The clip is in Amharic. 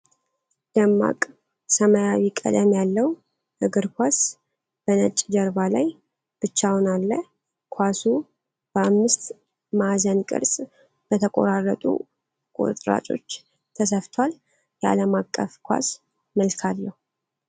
ደማቅ ሰማያዊ ቀለም ያለው እግር ኳስ በነጭ ጀርባ ላይ ብቻውን አለ። ኳሱ በአምስት ማዕዘን ቅርጽ በተቆራረጡ ቁርጥራጮች ተሰፍቷል፣ የዓለማቀፍ ኳስ መልክ አለው።